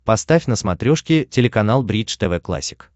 поставь на смотрешке телеканал бридж тв классик